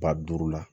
Ba duuru la